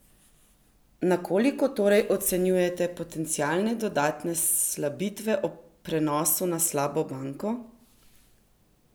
Na koliko torej ocenjujete potencialne dodatne slabitve ob prenosu na slabo banko?